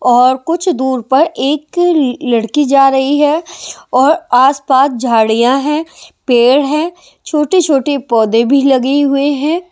और कुछ दूर पर एक लड़की जा रही है और आसपास झाड़ियां हैं पेड़ हैं छोटे-छोटे पौधे भी लगी हुए हैं ।